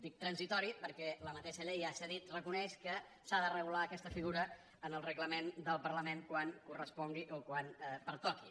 dic transitòria perquè la mateixa llei ja s’ha dit reconeix que s’ha de regular aquesta figura en el reglament del parlament quan correspongui o quan pertoqui